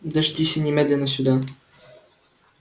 дождись и немедленно сюда